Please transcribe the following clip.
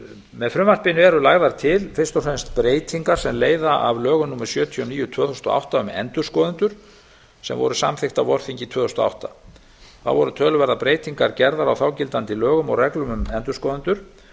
með frumvarpinu eru lagðar til fyrst og fremst breytingar sem leiða af lögum númer sjötíu og níu tvö þúsund og átta um endurskoðendur sem voru samþykkt á vorþingi tvö þúsund og átta þá voru töluverðar breytingar gerðar á þágildandi lögum og reglum um endurskoðendur